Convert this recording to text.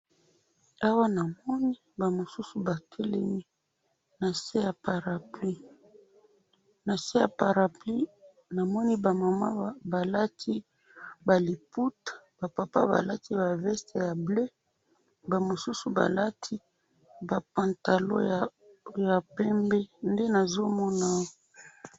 Awa namoni ba mosusu ba telemi nase ya parapluie, nase ya parapluie namoni ba mamans ba lati ba liputa, ba papas ba lati ba vestes ya bleu, ba mosusu ba lati ba pantalons ya pembe, nde nazo mona awa.